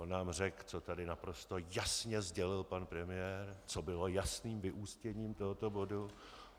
On nám řekl, co tady naprosto jasně sdělil pan premiér, co bylo jasným vyústěním tohoto bodu.